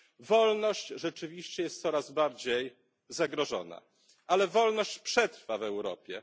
Wolność rzeczywiście jest coraz bardziej zagrożona, ale wolność przetrwa w Europie.